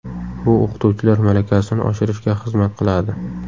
Bu o‘qituvchilar malakasini oshirishga xizmat qiladi.